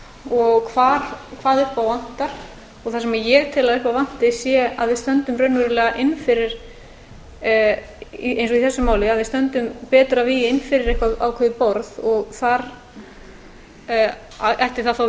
og hvað upp á vantar það sem ég tel að upp á vanti sé að við stöndum raunverulega inn fyrir eins og í þessu máli að við stöndum betur að vígi inn fyrir eitthvað borð og þar ætti það